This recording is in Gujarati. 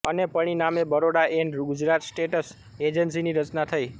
અને પરિણામે બરોડા એન્ડ ગુજરાત સ્ટેટ્સ એજન્સીની રચના થઈ